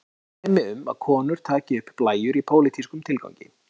einnig eru dæmi um að konur taki upp blæjur í pólitískum tilgangi